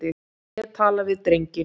Ég tala við drenginn.